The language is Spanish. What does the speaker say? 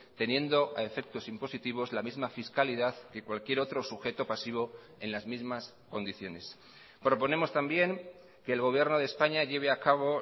teniendo a efectos impositivos la misma fiscalidad que cualquier otro sujeto pasivo en las mismas condiciones proponemos también que el gobierno de españa lleve a cabo